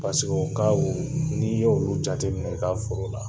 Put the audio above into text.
n'i y'olu jateminɛ i ka foro la